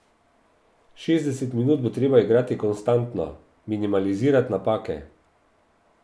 Šestdeset minut bo treba igrati konstantno, minimalizirati napake.